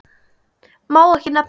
Má ekki nefna